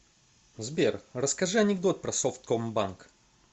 сбер расскажи анекдот про совкомбанк